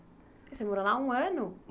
Você morou lá um ano?